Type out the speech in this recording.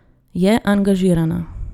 Je angažirana.